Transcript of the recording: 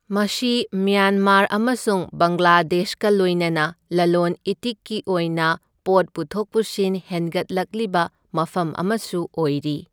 ꯃꯁꯤ ꯃ꯭ꯌꯥꯟꯃꯥꯔ ꯑꯃꯁꯨꯡ ꯕꯪꯒ꯭ꯂꯥꯗꯦꯁꯀ ꯂꯣꯏꯅꯅ ꯂꯂꯣꯟ ꯏꯇꯤꯛꯀꯤ ꯑꯣꯏꯅ ꯄꯣꯠ ꯄꯨꯊꯣꯛ ꯄꯨꯁꯤꯟ ꯍꯦꯟꯒꯠꯂꯛꯂꯤꯕ ꯃꯐꯝ ꯑꯃꯁꯨ ꯑꯣꯏꯔꯤ꯫